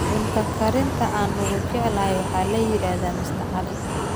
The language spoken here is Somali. Cunto karinta aan ugu jeclahay waxaa la yiraahdaa Mr. Ali